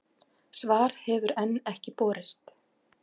Svar hefur enn ekki borist.